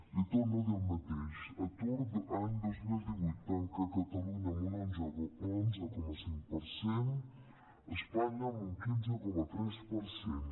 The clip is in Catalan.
li torno a dir el mateix atur any dos mil divuit tanca a catalunya amb un onze coma cinc per cent a espanya amb un quinze coma tres per cent